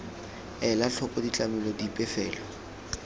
ela tlhoko ditlamelo dipe fela